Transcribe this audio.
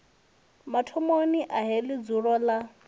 mathomoni a heḽi dzulo ḽa